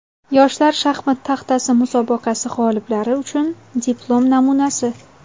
"Yoshlar shaxmat taxtasi" musobaqasi g‘oliblari uchun diplom namunasi.